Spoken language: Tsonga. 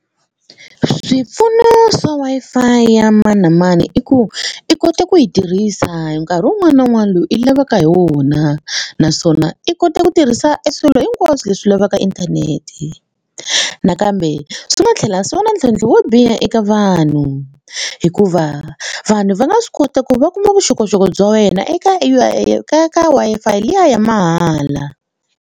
Swipfuno swa Wi-Fi ya mani na mani i ku i kota ku yi tirhisa nkarhi wun'wana na wun'wana loyi i lavaka hi wona naswona i kota ku tirhisa e swilo hinkwaswo leswi lavaka inthanete nakambe swi nga tlhela swi va na ntlhontlho wo biha eka vanhu hikuva vanhu va nga swi kota ku va kuma vuxokoxoko bya wena eka ka ka Wi-Fi liya ya mahala.